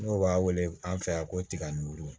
N'o b'a wele an fɛ yan ko tiga ni wulu